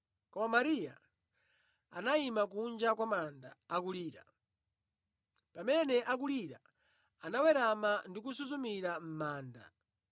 koma Mariya anayima kunja kwa manda akulira. Pamene akulira, anawerama ndi kusuzumira mʼmanda